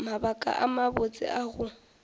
mabaka a mabotse a go